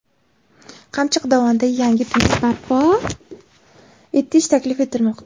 Qamchiq dovonida yangi tunnel barpo etish taklif etilmoqda.